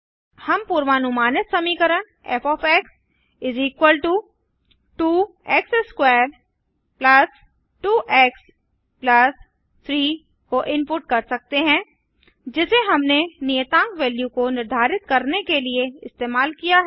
हम पूर्वानुमानित समीकरण फ़ 2 x2 2 एक्स 3 को इनपुट कर सकते हैं जिसे हमने नियतांक वैल्यू को निर्धारित करने के लिए इस्तेमाल किया है